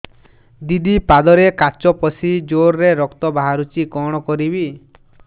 ଦିଦି ପାଦରେ କାଚ ପଶି ଜୋରରେ ରକ୍ତ ବାହାରୁଛି କଣ କରିଵି